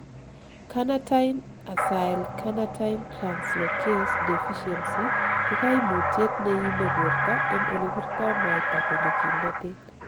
Carnitine acylcarnitine translocase deficiency ko koimutiet neime borto en olebirto mwaita konyo kimnotet.